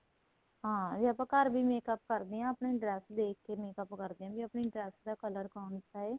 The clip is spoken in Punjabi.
ਹਾਂ ਜੇ ਆਪਾਂ ਘਰ ਵੀ makeup ਕਰਦੇ ਹਾਂ ਆਪਣੀ dress ਦੇਖਕੇ makeup ਕਰਦੇ ਹਾਂ ਵੀ ਆਪਣੀ dress ਦਾ color ਕੋਨ੍ਸਾ ਏ